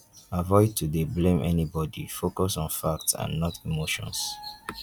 avoid to dey blame anybody focus on facts and not emotions